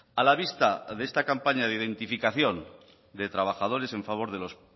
a la vista de esta campaña de identificación de trabajadores en favor de los